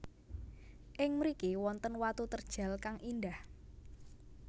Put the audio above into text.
Ing mriki wonten watu terjal kang indah